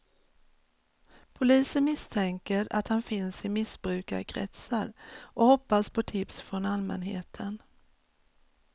Polisen misstänker att han finns i missbrukarkretsar och hoppas på tips från allmänheten.